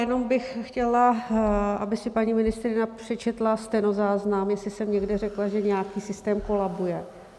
Jenom bych chtěla, aby si paní ministryně přečetla stenozáznam, jestli jsem někde řekla, že nějaký systém kolabuje.